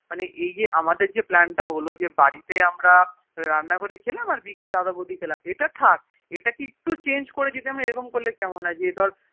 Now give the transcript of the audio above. মানে এই যে আমরাদের যেই Plan তা হলো যে আমরা বাড়িতে আমরা খেলাম তারপর দাদা বৌদি তে খেলাম ইটা কে যদি একটু Chnage করলেকেমন হয়ে যে ধরে